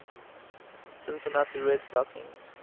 cincinnati red stockings